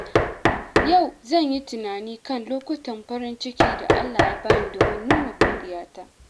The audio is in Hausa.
Yau zan yi tunani kan lokutan farin ciki da Allah ya bani domin nuna godiyata.